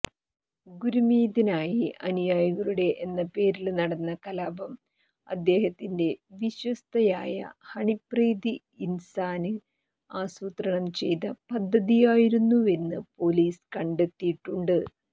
ഗുര്മീതിനായി അനുയായികളുടെ എന്ന പേരില് നടന്ന കലാപം അദ്ദേഹത്തിന്റെ വിശ്വസ്തയായ ഹണിപ്രീത് ഇന്സാന് അസൂത്രണം ചെയ്ത പദ്ധതിയായിരുന്നെന്നു പോലീസ് കണ്ടെത്തിയിട്ടുണ്ട്